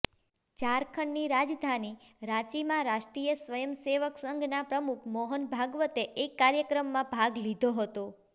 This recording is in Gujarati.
ઝારખંડની રાજધાની રાંચીમાં રાષ્ટ્રીય સ્વયંસેવક સંઘના પ્રમુખ મોહન ભાગવતે એક કાર્યક્રમમાં ભાગ લીધો હતો